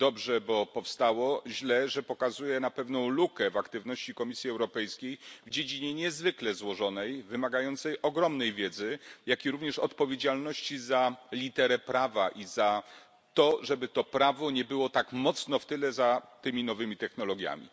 Dobrze, bo powstało, źle, że wskazuje na pewną lukę w aktywności Komisji Europejskiej w dziedzinie niezwykle złożonej i wymagającej ogromnej wiedzy, jak również odpowiedzialności za literę prawa i za to, żeby to prawo nie było tak mocno w tyle za tymi nowymi technologiami.